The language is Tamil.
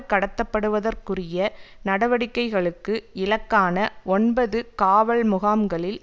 கடத்தப்படுவதற்குரிய நடவடிக்கைகளுக்கு இலக்கான ஒன்பது காவல் முகாம்களில்